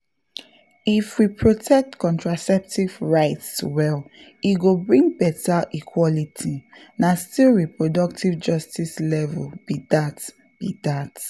if we protect contraceptive rights well e go bring better equality — na still reproductive justice level be that. be that.